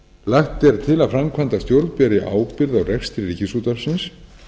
lagt er til að framkvæmdastjórn beri ábyrgð á rekstri ríkisútvarpsins